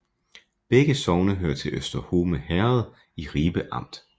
Begge sogne hørte til Øster Horne Herred i Ribe Amt